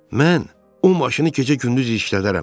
Mən o maşını gecə-gündüz işlədərəm.